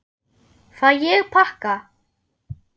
Fæ ég pakka?